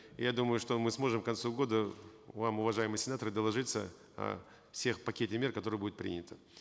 я думаю что мы сможем к концу года вам вам уважаемые сенаторы доложиться о всех пакетах мер которые будут приняты